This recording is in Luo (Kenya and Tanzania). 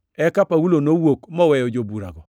Eka Paulo nowuok moweyo joburago.